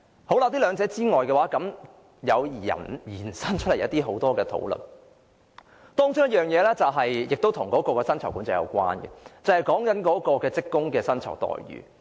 除了這兩點之外，也引發出很多其他討論，其中一項亦與利潤管制有關，便是職工的薪酬待遇。